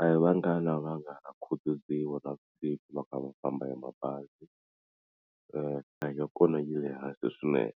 a hi vangani lava nga khutaziwa navusiku va kha va famba hi mabazi nhlayo ya kona yi le hansi swinene.